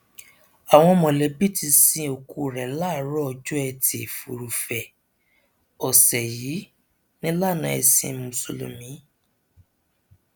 àwọn mọlẹbí ti sin òkú rẹ láàárọ ọjọ etí furuufee ọsẹ yìí nílànà ẹsìn mùsùlùmí